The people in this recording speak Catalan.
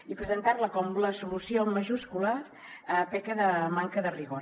i presentar la com la solució en majúscules peca de manca de rigor